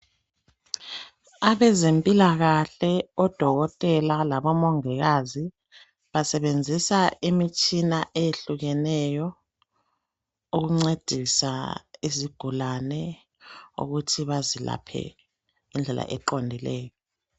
Abezempilakahle odokotela labomongikazi basebenzisa imitshina eyehlukeneyo ukuncedisa izigulane ukuthi bazilaphe ngendlela eqondileyo.